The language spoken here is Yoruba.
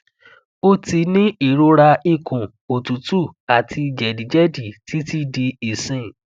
o ti ni irora ikun otutu ati jedijedi titi di isin